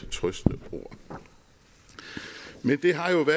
trøstende ord det har jo på